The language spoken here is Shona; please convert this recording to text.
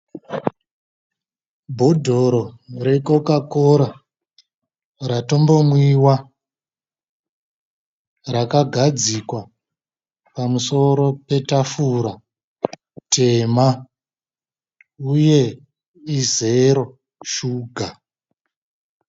Bhodhoro recoca cola ratombomwiwa rakagadzikwa pamusoro petafura tema uye izero shuga.